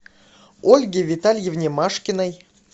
ольге витальевне машкиной